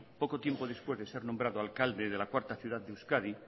poco tiempo después de ser nombrado alcalde de la cuarta ciudad de euskadi